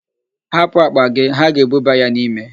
Hapụ akpa gị, ha ga-ebuba ya n'ime.